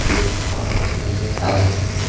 एक औरत नजर आ रही है।